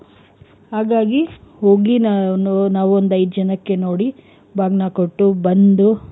ಹಾಗಾಗಿ ಹೋಗಿ ನಾವ್ ಒಂದು ಐದ್ ಜನಕ್ಕೆ ನೋಡಿ ಬಾಗ್ನ ಕೊಟ್ಟು ಬಂದು,